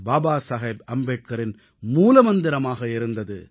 பாபா சாஹேப் அம்பேத்கரின் மூலமந்திரமாக இருந்தது